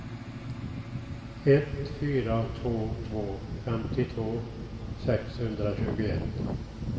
ett fyra två två femtiotvå sexhundratjugoett